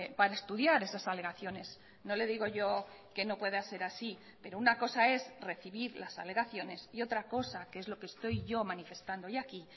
para estudiar esas alegaciones no le digo yo que no pueda ser así pero una cosa es recibir las alegaciones y otra cosa que es lo que estoy yo manifestando hoy aquí